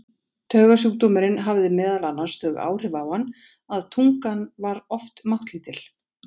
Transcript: Taugasjúkdómurinn hafði meðal annars þau áhrif á hann að tungan var oft máttlítil.